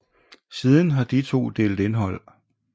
Siden har de to delt indhold